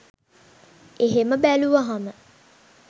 එහෙම බැලුවහම